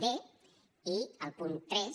d i el punt tres